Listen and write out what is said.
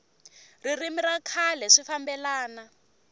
ririmi ra kahle swi fambelana